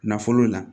Nafolo la